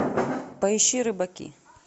поищи рыбаки